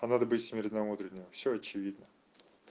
это надо быть смиренномудренным всё очевидно